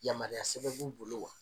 Yamaruya sɛbɛn b'u bolo wa?